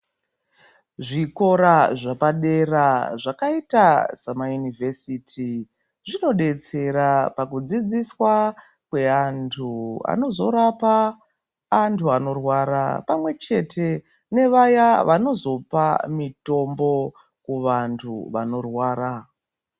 Zvikora zvepadera zvakaita semaYunivhesiti zvinobetsera pakudzidziswakwe antu anozo rapa antu anorwara pamwe chete nevaya vanozopa mutombo kuvandu vanorwara.